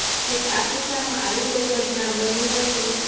જો કે આ કિસ્સામાં આવી કોઈ ઘટના બની નથી